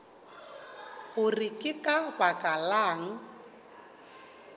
gore ke ka baka lang